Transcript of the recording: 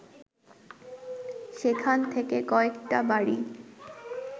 সেখান থেকে কয়েকটা বাড়ি